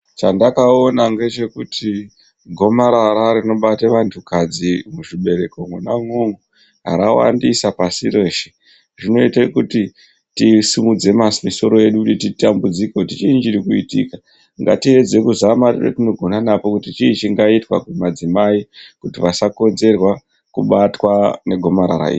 Chandakaona ngechekuti gomarara rinobate vantukadzi muzvibereko mwona umwo, rawandisa pasi reshe. Zvinoite kuti tisimudze masoro edu kuti titambudzike kuti chiinyi chiri kuitika. Ngatiedze kuzama nepatinogona napo kuti chii chingaitwa kumadzimai kuti vasakodzerwa kubatwa negomarara iri.